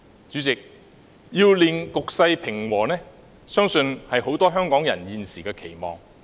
主席，令局勢平和，相信是很多香港人現時的期望。